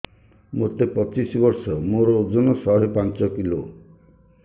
ମୋତେ ପଚିଶି ବର୍ଷ ମୋର ଓଜନ ଶହେ ପାଞ୍ଚ କିଲୋ